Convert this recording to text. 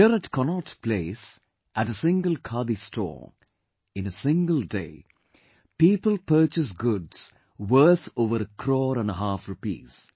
Here at Connaught Place, at a single Khadi store, in a single day, people purchased goods worth over a crore and a half rupees